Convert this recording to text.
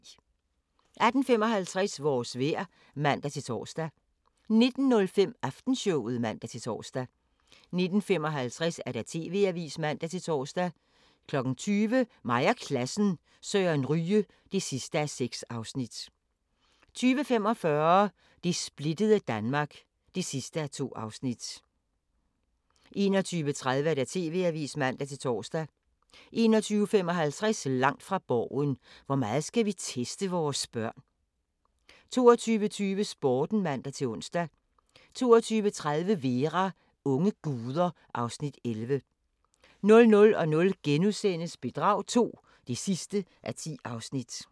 18:55: Vores vejr (man-tor) 19:05: Aftenshowet (man-tor) 19:55: TV-avisen (man-tor) 20:00: Mig og Klassen – Søren Ryge (6:6) 20:45: Det splittede Danmark (2:2) 21:30: TV-avisen (man-tor) 21:55: Langt fra Borgen: Hvor meget skal vi teste vores børn? 22:20: Sporten (man-ons) 22:30: Vera: Unge guder (Afs. 11) 00:00: Bedrag II (10:10)*